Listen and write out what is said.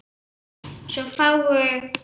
Svo fáguð.